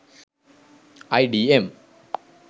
idm